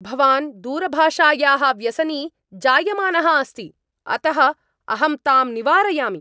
भवान् दूरभाषायाः व्यसनी जायमानः अस्ति, अतः अहं ताम् निवारयामि।